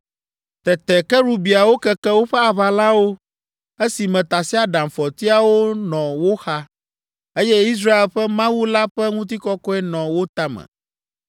Tete kerubiawo keke woƒe aʋalawo esime tasiaɖamfɔtiawo nɔ wo xa, eye Israel ƒe Mawu la ƒe ŋutikɔkɔe nɔ wo tame.